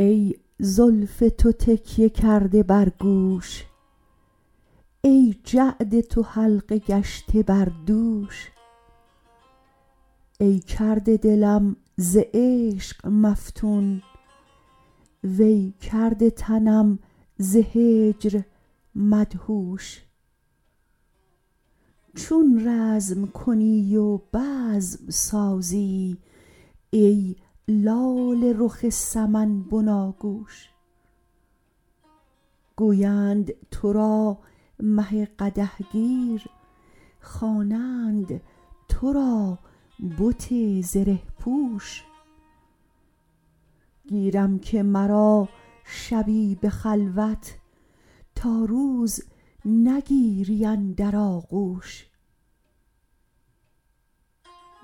ای زلف تو تکیه کرده بر گوش ای جعد تو حلقه گشته بر دوش ای کرده دلم ز عشق مفتون وی کرده تنم ز هجر مدهوش چون رزم کنی و بزم سازی ای لاله رخ سمن بناگوش گویند ترا مه قدح گیر خوانند ترا بت زره پوش گیرم که مرا شبی به خلوت تا روز نگیری اندر آغوش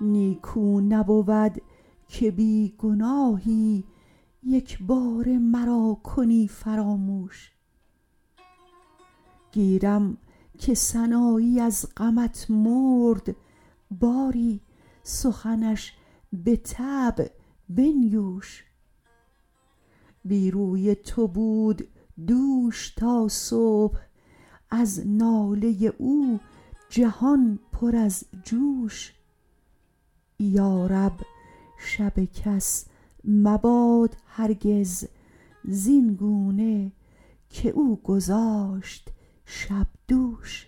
نیکو نبود که بی گناهی یک باره مرا کنی فراموش گیرم که سنایی از غمت مرد باری سخنش به طبع بنیوش بی روی تو بود دوش تا صبح از ناله او جهان پر از جوش یارب شب کس مباد هرگز زینگونه که او گذاشت شب دوش